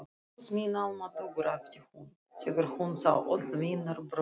Guð minn almáttugur æpti hún þegar hún sá öll vínarbrauðin.